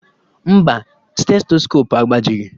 Mba, stetoskopu agbajighi